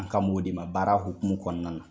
An kan m'o de ma baara hukumu kɔnɔna na.